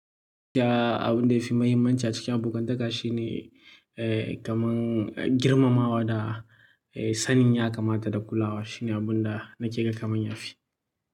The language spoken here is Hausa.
Ya, abun da ya fi mahimmanci a cikin abokantaka shine, eh kaman, girma ma wa da sanin ya kamata da kulawa. Shine abun da nake ga kaman ya fi.